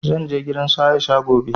Zan je gidan su Aisha gobe